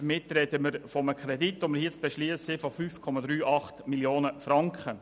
Damit sprechen wir hier von einem zu beschliessenden Kredit von 5,38 Mio. Franken.